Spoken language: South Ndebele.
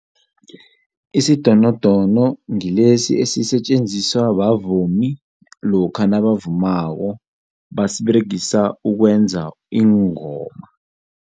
Isidonono ngilesi esisetjenziswa bavumi lokha nabavumako basiberegisa ukwenza iingoma.